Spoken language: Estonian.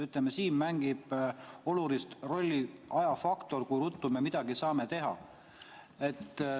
Ütleme, siin mängib olulist rolli ajafaktor, kui ruttu me midagi saame teha.